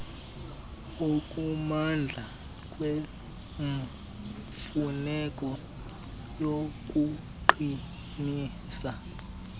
okumandla kwemfuneko yokuqinisa